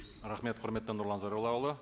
рахмет құрметті нұрлан зайроллаұлы